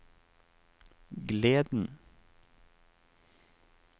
gleden